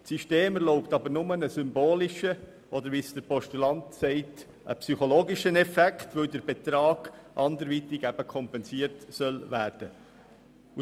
Das System erlaubt aber nur einen symbolischen, oder wie der Postulant sagt, psychologischen Effekt, weil der Betrag anderweitig kompensiert werden soll.